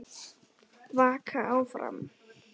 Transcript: Vaka áfram.